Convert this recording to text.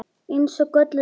Eins og gölluð vara.